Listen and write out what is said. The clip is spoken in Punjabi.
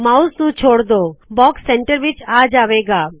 ਮਾਉਸ ਨੂ ਛੋੜ ਦੋ ਬਾਕਸ ਸੈਂਟਰ ਵਿਚ ਆ ਜਾਵੇ ਗਾ